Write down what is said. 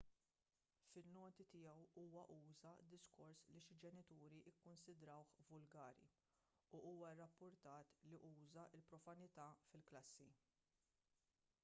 fin-noti tiegħu huwa uża diskors li xi ġenituri kkunsidrawh vulgari u huwa rrappurtat li uża l-profanità fil-klassi